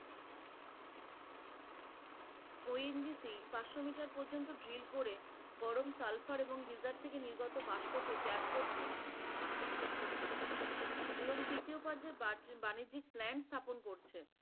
ONGC পাঁচশো metre পর্যন্ত drill করে গরম সালফার এবং গিজার থেকে নির্গত বাস্পকে করতে এবং তৃতীয় বাণিজ্যিক plant স্থাপন করছে।